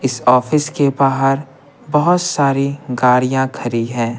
इस ऑफिस के बाहर बहुत सारी गाड़ियाँ खरी हैं।